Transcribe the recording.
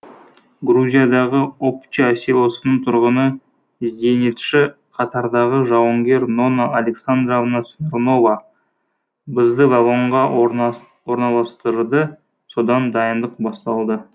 грузиядағы обча селосының тұрғыны зенитші қатардағы жауынгер нонна александровна смирнова бізді вагонға орналастырды содан дайындық басталды